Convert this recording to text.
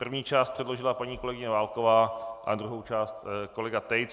První část předložila paní kolegyně Válková a druhou část kolega Tejc.